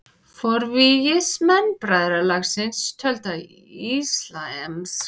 Forvígismenn bræðralagsins töldu að íslamskt stjórnkerfi væri öðru vísi og æðra en veraldleg stjórnkerfi Vesturlanda.